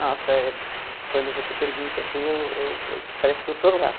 Nossa, quando você pergunta assim, eu eu parece que eu estou lá.